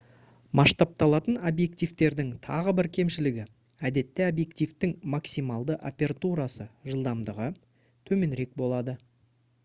масштабталатын объективтердің тағы бір кемшілігі — әдетте объективтің максималды апертурасы жылдамдығы төменірек болады